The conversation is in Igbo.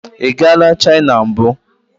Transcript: Ị gala China mbụ?